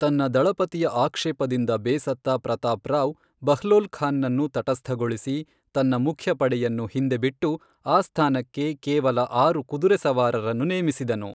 ತನ್ನ ದಳಪತಿಯ ಆಕ್ಷೇಪದಿಂದ ಬೇಸತ್ತ ಪ್ರತಾಪ್ ರಾವ್, ಬಹ್ಲೋಲ್ ಖಾನ್ ನನ್ನು ತಟಸ್ಥಗೊಳಿಸಿ, ತನ್ನ ಮುಖ್ಯ ಪಡೆಯನ್ನು ಹಿಂದೆ ಬಿಟ್ಟು ,ಆ ಸ್ಥಾನಕ್ಕೆ ಕೇವಲ ಆರು ಕುದುರೆ ಸವಾರರನ್ನು ನೇಮಿಸಿದನು.